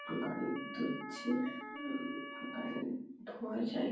গাড়ি ধুচ্ছে উম গাড়ির ধোয়ার জায়গা --